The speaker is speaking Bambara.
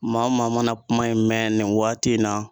Maa o maa mana kuma in mɛn nin waati in na